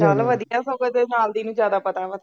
ਚੱਲ ਵਧੀਆ ਸਗੋਂ ਤੇਰੇ ਨਾਲ ਦੀ ਨੂੰ ਜ਼ਿਆਦਾ ਪਤਾ ਵਾ